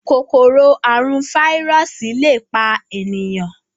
Kòkòrò àrùn fáírọọsì lẹ pá ènìyàn.